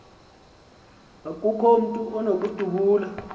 akukho mntu unokudubula